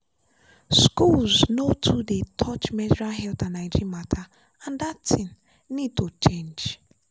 schools no too dey touch menstrual health and hygiene matter and that thing need to change.